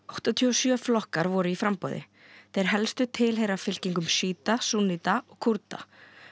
áttatíu og sjö flokkar voru í framboði þeir helstu tilheyra fylkingum sjíta súnníta og Kúrda